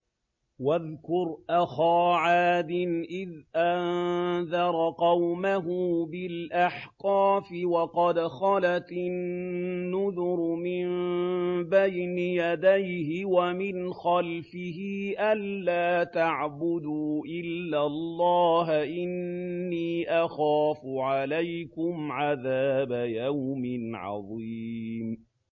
۞ وَاذْكُرْ أَخَا عَادٍ إِذْ أَنذَرَ قَوْمَهُ بِالْأَحْقَافِ وَقَدْ خَلَتِ النُّذُرُ مِن بَيْنِ يَدَيْهِ وَمِنْ خَلْفِهِ أَلَّا تَعْبُدُوا إِلَّا اللَّهَ إِنِّي أَخَافُ عَلَيْكُمْ عَذَابَ يَوْمٍ عَظِيمٍ